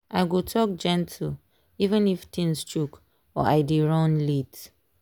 i go talk gentle even if things choke or i dey run late.